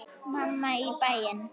Mamma í bæinn.